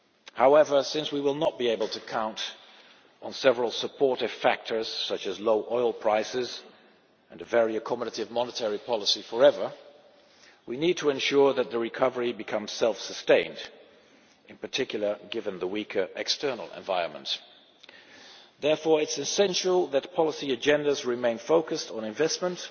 However, since we will not be able to count on several supportive factors, such as low oil prices and a very accommodative monetary policy, forever, we need to ensure that the recovery becomes self sustained, in particular given the weaker external environment. Therefore it is essential that policy agendas remain focused on investment,